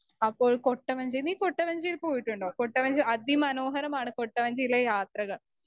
Speaker 1 അപ്പോൾ കൊട്ടവഞ്ചി നീ കൊട്ടവഞ്ചിയിൽ പോയിട്ടുണ്ടോ? കൊട്ടവഞ്ചി അതിമനോഹരമാണ് കൊട്ടവഞ്ചിയിലെ യാത്രകൾ.